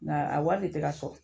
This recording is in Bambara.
Nga a wari de tɛ ka sɔrɔ.